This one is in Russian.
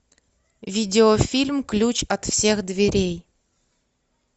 видеофильм ключ от всех дверей